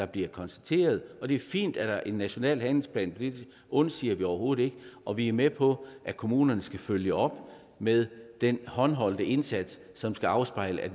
bliver konstateret og det er fint at der er en national handlingsplan det undsiger vi overhovedet ikke og vi er med på at kommunerne skal følge op med den håndholdte indsats som skal afspejle at